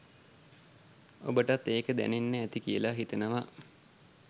ඔබටත් ඒක දැනෙන්න ඇති කියලා හිතනවා